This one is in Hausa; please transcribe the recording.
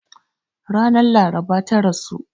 Ranar laraba ta rasu.